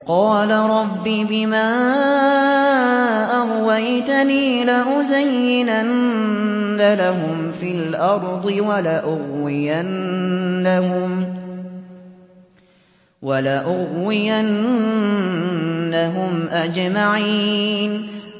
قَالَ رَبِّ بِمَا أَغْوَيْتَنِي لَأُزَيِّنَنَّ لَهُمْ فِي الْأَرْضِ وَلَأُغْوِيَنَّهُمْ أَجْمَعِينَ